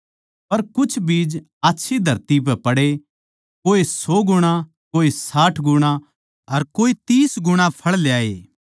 पर कुछ बीज आच्छी धरती पै पड़े कोए सौ गुणा कोए साठ गुणा अर कोए तीस गुणा फळ ल्याए